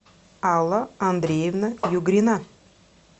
алла андреевна югрина